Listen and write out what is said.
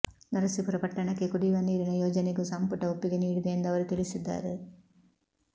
ನರಸೀಪುರ ಪಟ್ಟಣಕ್ಕೆ ಕುಡಿಯುವ ನೀರಿನ ಯೋಜನೆಗೂ ಸಂಪುಟ ಒಪ್ಪಿಗೆ ನೀಡಿದೆ ಎಂದು ಅವರು ತಿಳಿಸಿದ್ದಾರೆ